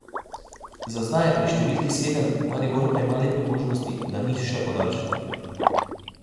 Za zdaj je pri številki sedem, Maribor pa ima lepe možnosti, da niz še podaljša.